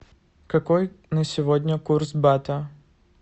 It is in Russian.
какой на сегодня курс бата